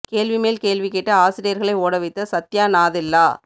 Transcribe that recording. கேள்வி மேல் கேள்வி கேட்டு ஆசிரியர்களை ஓட வைத்த சத்யா நாதெல்லா